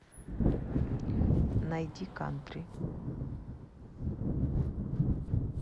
найди кантри